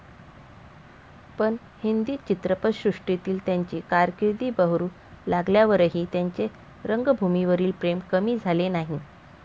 पण हिंदी चित्रपटसृष्टीतील त्यांची कारकीर्द बहरू लागल्यावरही त्यांचे रंगभूमीवरील प्रेम कमी झाले नाही.